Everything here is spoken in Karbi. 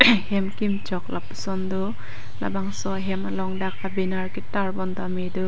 hem kimchok lapu son do labangso ahem along dak abenar ketar pon tame do.